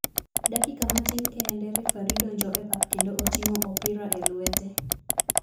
Dakika matin kende refari donjo e pap kendo otingo opirae lwete.